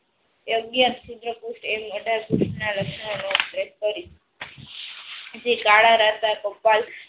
અગિયાર પુસ્થ એમ આધાર પુસ્થ ના લક્ષણો